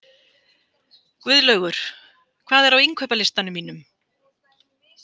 Guðlaugur, hvað er á innkaupalistanum mínum?